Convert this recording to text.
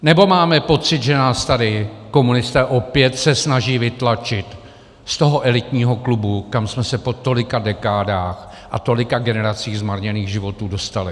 Nebo máme pocit, že nás tady komunisté se opět snaží vytlačit z toho elitního klubu, kam jsme se po tolika dekádách a tolika generacích zmarněných životů dostali?